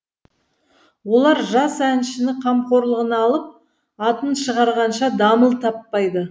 олар жас әншіні қамқорлығына алып атын шығарғанша дамыл таппайды